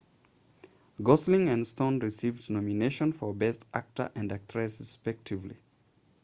gosling and stone received nominations for best actor and actress respectively